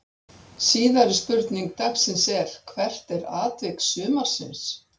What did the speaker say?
Síðari spurning dagsins er: Hvert er atvik sumarsins?